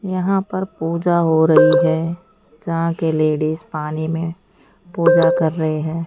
यहां पर पूजा हो रही हैं जहां के लेडिस पानी में पूजा कर रहे हैं।